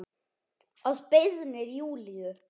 Að beiðni Júlíu.